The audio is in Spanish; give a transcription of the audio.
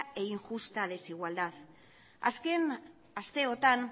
e injusta desigualdad azken asteotan